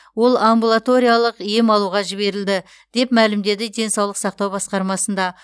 ол амбулаториялық ем алуға жіберілді деп мәлімдеді денсаулық сақтау басқармасында